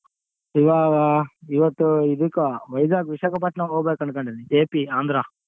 ಇವಾ~ ಇವತ್ತು ಇದಕ್ಕ Vizag Visakhapatnam ಹೋಗ್ಬೇಕನ್ಕೊಂಡದನಿ AP Andhra .